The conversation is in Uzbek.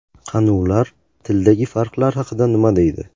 Qani, ular tildagi farqlar haqida nima deydi?